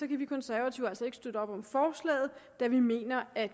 vi konservative altså ikke støtte op om forslaget da vi mener at